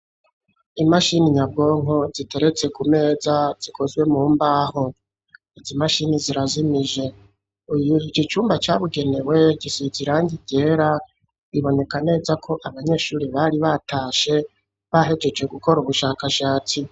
Imashini nyabwonko ziteretse ku meza zikozwe mu mbaho izimashini zirazimije uyu ikicyumba cyabugenewe gisikirangigera iboneka neza ko abanyeshuri bari batashe bahegece gukora ubushakashatsi.